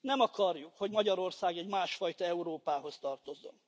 Nem akarjuk, hogy Magyarország egy másfajta Európához tartozzon.